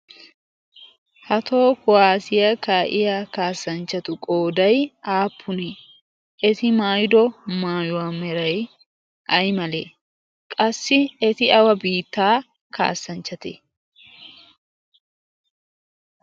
ha too kuwaasiyaa kaa'iya kaassanchchatu qoodai aappunee eti maayido maayuwaa merai ai malee qassi eti awa biittaa kaassanchchate?